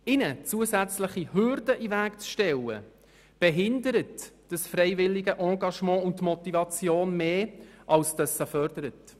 Ihnen zusätzliche Hürden in den Weg zu stellen, behindert dieses freiwillige Engagement und die Motivation mehr, als dass es sie fördert.